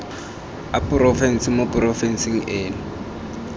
a porofense mo porofenseng eno